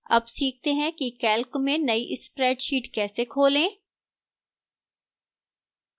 अब सीखते हैं कि calc में now spreadsheet कैसे खोलें